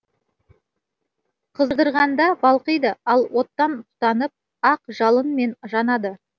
қыздырғанда балқиды ал оттан тұтанып ақ жалынмен жанады